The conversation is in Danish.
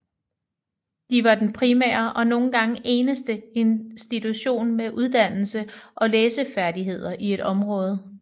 De var den primære og nogle gange eneste institution med uddannelse og læsefærdigheder i et område